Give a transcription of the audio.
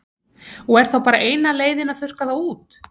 Og er þá bara eina leiðin að þurrka þá út?